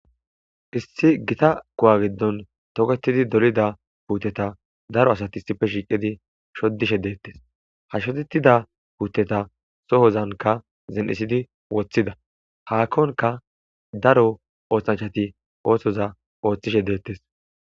issi gita kuwa giddon toketidi dolida puuteta daro asati issife shiiqidi shodishe deettes ha shodetida puuteta sohozanka zen7isidi woththida haakkonka daro oothanchati ooththoza ooththishe deettes